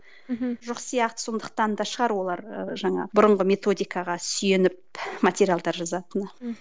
мхм жоқ сияқты сондықтан да шығар олар ы жаңағы бұрынғы методикаға сүйеніп материалдар жазатыны